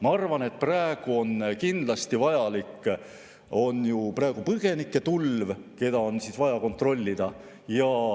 Ma arvan, et praegu oleks see kindlasti vajalik, sest on ju põgenike tulv, neid on vaja kontrollida.